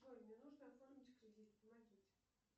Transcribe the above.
джой мне нужно оформить кредит помогите